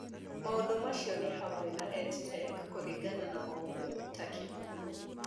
Maũndũ macio nĩ hamwe na EdTech kũringana na maũndũ ta kĩhumo,